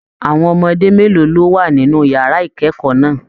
Àwọn ọmọdé mélòó ló wà nínú yàrá ikẹkọọ náà?